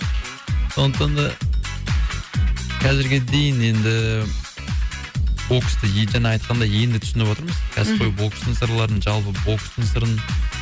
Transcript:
сондықтан да қазірге дейін енді і боксты жаңа айтқандай енді түсініп атырмыз кәсіпқой бокстың сырларын жалпы бокстың сырын